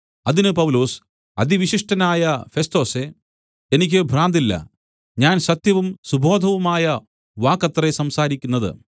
അതിന് പൗലൊസ് അതിവിശിഷ്ടനായ ഫെസ്തൊസേ എനിക്ക് ഭ്രാന്തില്ല ഞാൻ സത്യവും സുബോധവുമായ വാക്കത്രേ സംസാരിക്കുന്നത്